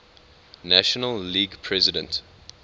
national league president